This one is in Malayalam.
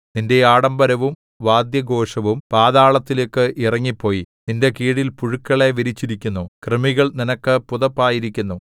നിന്റെ ആഡംബരവും വാദ്യഘോഷവും പാതാളത്തിലേക്ക് ഇറങ്ങിപ്പോയി നിന്റെ കീഴിൽ പുഴുക്കളെ വിരിച്ചിരിക്കുന്നു കൃമികൾ നിനക്ക് പുതപ്പായിരിക്കുന്നു